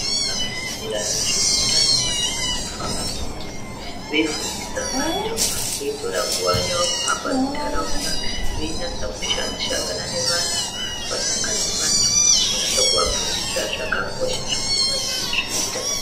Vakafundira nezveutano vanofanira kufamba mumizi veifundisa vantu, veitora nguva yavo kuhamba mintaraunda, veinasa kushangana nevantu, vasangana nevantu, vonasa kuvafundisa zvakakosha zvekuti vazive zveutano.